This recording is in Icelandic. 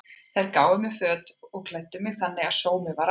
Þær gáfu mér föt og klæddu mig þannig að sómi var að.